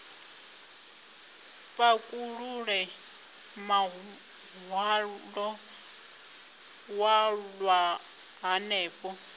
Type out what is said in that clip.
pakulule muhwalo wa halwa hanefho